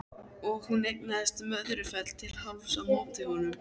Og hún eignaðist Möðrufell til hálfs á móti honum.